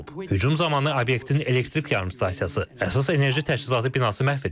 Hücum zamanı obyektin elektrik yarımstansiyası, əsas enerji təchizatı binası məhv edilib.